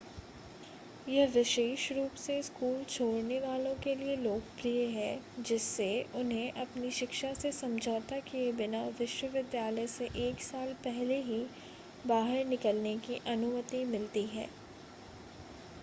यह विशेष रूप से स्कूल छोड़ने वालों के लिए लोकप्रिय है जिससे उन्हें अपनी शिक्षा से समझौता किए बिना विश्वविद्यालय से एक साल पहले ही बाहर निकलने की अनुमति मिलती है